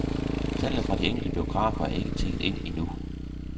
Tallene fra de enkelte biografer er ikke tikket ind endnu.